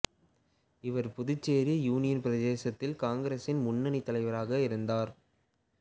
இவர் புதுச்சேரி யூனியன் பிரதேசத்தில் காங்கிரஸின் முன்னணி தலைவராக இருந்தார்